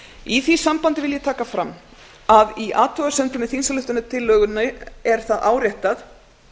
í því sambandi vil ég taka fram að í athugasemdum með þingsályktunartillögunni er það áréttað